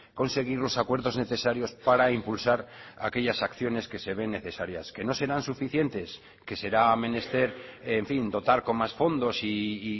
conseguir los acuerdos necesarios para impulsar aquellas acciones que se ven necesarias que no serán suficientes que será menester en fin dotar con más fondos y